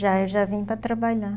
Já, eu já vim para trabalhar.